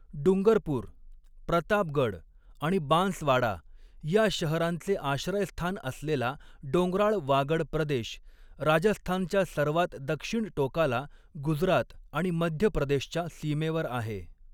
डुंगरपूर, प्रतापगड आणि बांसवाडा या शहरांचे आश्रयस्थान असलेला डोंगराळ वागड प्रदेश राजस्थानच्या सर्वांत दक्षिण टोकाला गुजरात आणि मध्य प्रदेशच्या सीमेवर आहे.